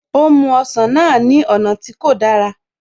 Ó mú ọsàn náà ní ọ̀nà tí kò dára